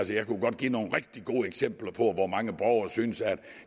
jeg kunne godt give nogle rigtig gode eksempler på hvor mange borgere der synes at